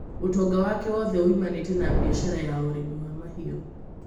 Ũtonga wake wothe woimanĩte na biacara ya ũrĩmi wa mahiũ